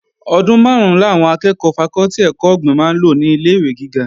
Ọdún máàrún làwọn akẹ́ẹ̀kọ́ fakọ́tì ẹ̀kọ́ ọ̀gbìn máa lò ní ilé-ìwé gíga